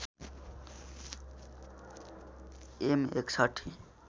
am ६१